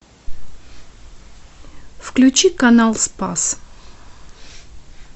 включи канал спас